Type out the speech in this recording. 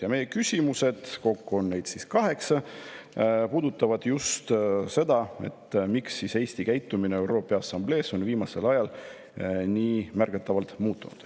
Ja meie küsimused – kokku on neid kaheksa – puudutavad just seda, miks on Eesti käitumine ÜRO Peaassamblees viimasel ajal nii märgatavalt muutunud.